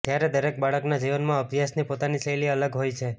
ત્યારે દરેક બાળકના જીવનમાં અભ્યાસની પોતાની શૈલી અલગ હોય છે